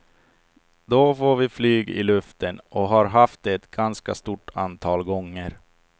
Då får vi flyg i luften, och har haft det ett ganska stort antal gånger.